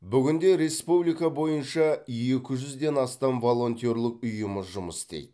бүгінде республика бойынша екі жүзден астам волонтерлік ұйымы жұмыс істейді